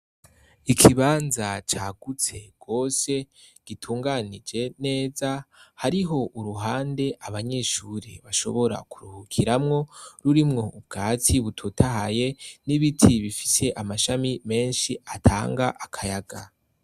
Ikibanza cagutse gose, gitumganije neza, hariho uruhande abanyeshure bashobora kuruhukiramwo, ririmwo ubwatsi bitotahaye n'ibiti bifise amashami menshi atanga akayaga.